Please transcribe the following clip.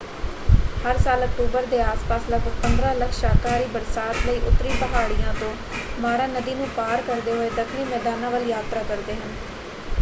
ਹਰ ਸਾਲ ਅਕਤੂਬਰ ਦੇ ਆਸ ਪਾਸ ਲਗਭਗ 15 ਲੱਖ ਸ਼ਾਕਾਹਾਰੀ ਬਰਸਾਤ ਲਈ ਉੱਤਰੀ ਪਹਾੜੀਆਂ ਤੋਂ ਮਾਰਾ ਨਦੀ ਨੂੰ ਪਾਰ ਕਰਦੇ ਹੋਏ ਦੱਖਣੀ ਮੈਦਾਨਾਂ ਵੱਲ ਯਾਤਰਾ ਕਰਦੇ ਹਨ।